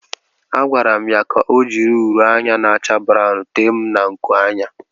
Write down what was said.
A gwara m ya ka o jiri uri anya na-acha brawụn tee m na nkuanya.